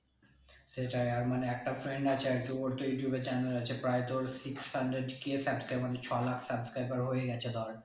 সেটাই আর মানে একটা friend আছে আরকি ওর তো ইউটিউবে channel আছে প্রায় তোর six hundred k subscriber মানে ছ লাখ subscriber হয়ে গেছে ধর